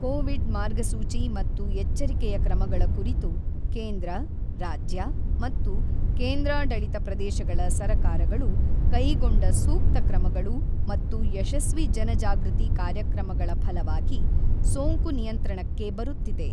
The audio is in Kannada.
ಕೋವಿಡ್ ಮಾರ್ಗಸೂಚಿ ಮತ್ತು ಎಚ್ಚರಿಕೆಯ ಕ್ರಮಗಳ ಕುರಿತು ಕೇಂದ್ರ, ರಾಜ್ಯ ಮತ್ತು ಕೇಂದ್ರಾಡಳಿತ ಪ್ರದೇಶಗಳ ಸರಕಾರಗಳು ಕೈಗೊಂಡ ಸೂಕ್ತ ಕ್ರಮಗಳು ಮತ್ತು ಯಶಸ್ವಿ ಜನಜಾಗೃತಿ ಕಾರ್ಯಕ್ರಮಗಳಫಲವಾಗಿ ಸೋಂಕು ನಿಯಂತ್ರಣಕ್ಕೆ ಬರುತ್ತಿದೆ.